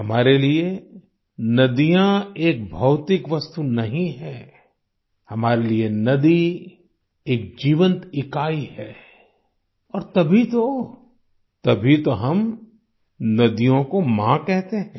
हमारे लिये नदियाँ एक भौतिक वस्तु नहीं है हमारे लिए नदी एक जीवंत इकाई है और तभी तो तभी तो हम नदियों को माँ कहते हैं